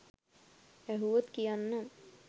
ඇහුවොත් කියන්නම්